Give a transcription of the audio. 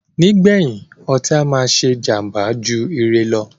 Nígbèyìn, ọtí á máà ṣé jàmbá jù ire lọ.